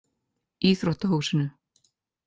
Íþróttahúsinu